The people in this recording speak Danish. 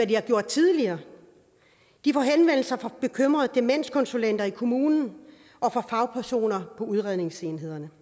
de har fået tidligere de får henvendelser fra bekymrede demenskonsulenter i kommunerne og fra fagpersoner i udredningsenhederne